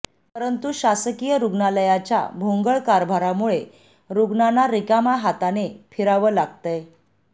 पंरतु शासकीय रुग्णालयाच्या भोंगळ कारभारामुळे रुग्णांना रिकाम्या हाताने फिरावं लागतंय